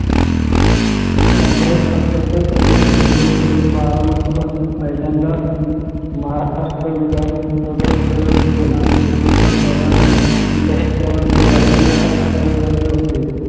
काँग्रेस पक्षाचे प्रतिनिधित्व करून बारामती पासून पहिल्यांदा महाराष्ट्र विधान प्रवेश केला यशवंतराव चव्हाण हे शरद पवार यांचे राजकीय असल्यासारखे होते